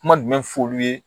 Kuma jumɛn fɔ olu ye